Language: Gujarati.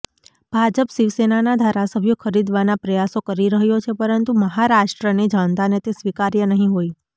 ભાજપ શિવસેનાના ધારાસભ્યો ખરીદવાના પ્રયાસો કરી રહ્યો છે પરંતુ મહારાષ્ટ્રની જનતાને તે સ્વીકાર્ય નહીં હોય